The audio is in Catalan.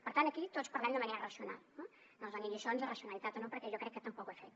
per tant aquí tots parlem de manera racional eh no ens doni lliçons de racionalitat o no perquè jo crec que tampoc ho he fet